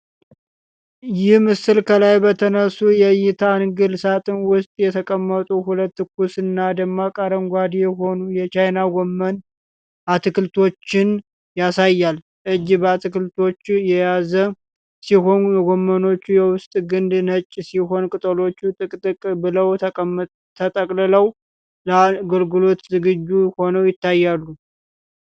ይህ ምስል ከላይ በተነሱ የእይታ አንግል ሳጥን ውስጥ የተቀመጡ ሁለት ትኩስና ደማቅ አረንጓዴ የሆኑ የቻይና ጎመን አትክልቶችን ያሳያል። እጅ በአትክልቶቹ የያዘ ሲሆን፣ የጎመኖቹ የውስጥ ግንድ ነጭ ሲሆን ቅጠሎቹ ጥቅጥቅ ብለው ተጠቅልለው ለአገልግሎት ዝግጁ ሆነው ይታያሉ።